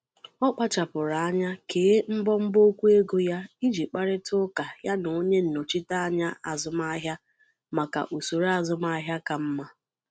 Ọ kpáchapụrụ anya kèé mbọ mbọ okwu ego ya iji kparitaa ụka ya na onye nnọchiteanya azụmahịa maka usoro azụmahịa kà mma.